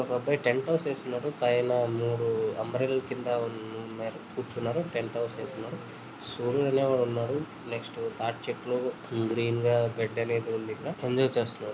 ఒక అబ్బాయి tent house చేసినాడు. అంబ్రెల్లా కింద కూర్చున్నారు. టెంట్ హౌస్ వేసినారు. దాంట్లో మీరు టెంట్ హౌస్ సూర్యుడు ఉన్నాడు. నెక్స్ట్ తాటి చెట్టు గ్రీన్ గడ్డి అనేది ఉంది. ఎంజాయ్ చేస్తున్నారు.